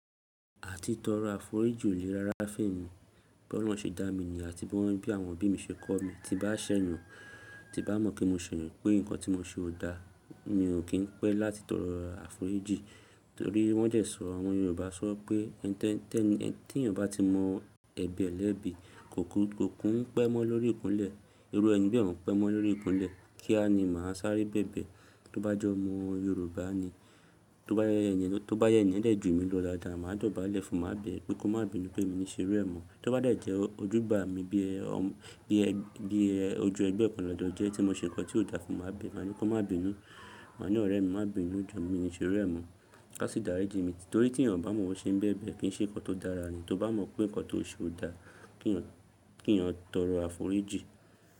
Àti tọrọ àforíjì o lè rára fe mi. Bí Ọlọ́run ṣe dá mi ni yen àti bí wọ́n bí àwọn òbí mi ṣe kọ́ mi, tí n bá ṣẹ̀ yàn, tí n bá mọ̀ pé mo sẹ yan, pe nǹkan tí mo ṣe ò da, mi ò kí ń pẹ́ láti tọrọ àforíjì. Torí wọ́n dẹ̀ sọ̀, àwọn Yorùbá sọ pé tí ènìyàn bá ti mọ ẹbi ẹ lẹ́bi, kò kún pẹ́ mọ́ lórí ìkúnlẹ̀, irú ẹni bí ẹ òún pẹ́ mọ́ lórí ìkúnlẹ̀, kí á ni máa sáré bẹ̀bẹ̀. Tó bá jọ́mọ Yorùbá ni, tó bá jẹ́ ẹni yen dẹ̀ ju mi lọ daádàá, màá dọ̀bálẹ̀ fún, máa bẹ̀ ẹ́, pé kó má bínú pé mi ní ṣe ru e mọ. Tó bá dẹ̀ jẹ́ ojúgbà mi bí ẹ, bí ẹ, ojú ẹgbẹ́ ọ̀kan lọ́jọ́ jẹ́ tí mo ṣe nǹkan tí ò da fún, máa bẹ̀ ẹ́, màá ní kó má bínú, màá ní ọ̀rẹ́ mi, má bínú jù, mi ní ṣé irú ẹ mọ á sì daríji mi torí tí ènìyàn bá mọ̀ bi ẹ̀yán ṣe ń bẹ̀bẹ̀ kí í ṣe nǹkan tó dára ni. Tó bá mọ̀ pé nǹkan tí ó ṣe ò da, kí ìyàn tọrọ àforíjì.